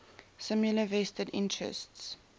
similar vested interests